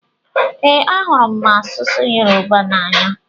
Ee, ahụrụ masụsụ Yorùbá n'anya.